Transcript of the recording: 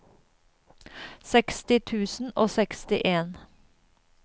seksti tusen og sekstien